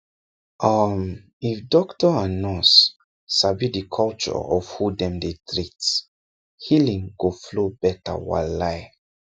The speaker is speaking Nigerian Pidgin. um if doctor or nurse sabi the culture of who dem dey treat healing go flow better walai